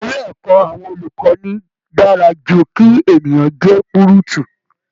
Ilé ẹ̀kọ́ àwọn olùkọ́ni dára ju kí ènìyàn jẹ́ púrùtù